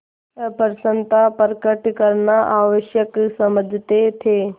अप्रसन्नता प्रकट करना आवश्यक समझते थे